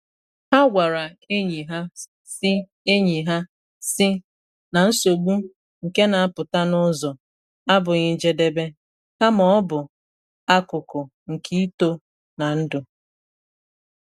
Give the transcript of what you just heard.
Ha gwara enyi ha, sị enyi ha, sị na nsogbu nke na apụta n’ụzọ, abụghị njedebe, kama ọ bụ akụkụ nke ito na ndụ.